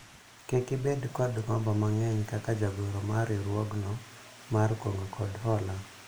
kik ibed kod gombo mang'eny kaka jagoro mar riwruogno mar kungo kod hola